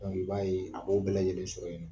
i b'a ye, a b'o bɛɛ lajɛlen sɔrɔ yen nɔ.